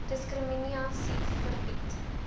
diskrimina sie verbied